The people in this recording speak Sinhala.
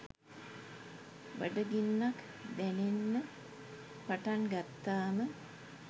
බඩගින්නක් දැනෙන්න පටන් ගත්තාම